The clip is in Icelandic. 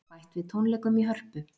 Bætt við tónleikum í Hörpu